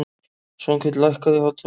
Svanhvít, lækkaðu í hátalaranum.